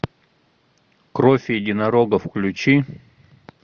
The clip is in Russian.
кровь единорога включи